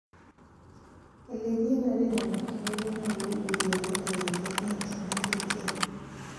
Ele kionoren amitwogik konyolu urwet netere tiongik che mengechen.